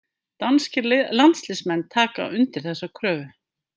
Danskir landsliðsmenn taka undir þessa kröfu.